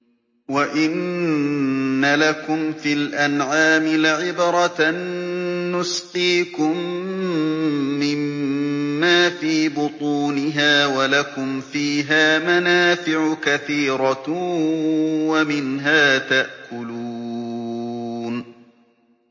وَإِنَّ لَكُمْ فِي الْأَنْعَامِ لَعِبْرَةً ۖ نُّسْقِيكُم مِّمَّا فِي بُطُونِهَا وَلَكُمْ فِيهَا مَنَافِعُ كَثِيرَةٌ وَمِنْهَا تَأْكُلُونَ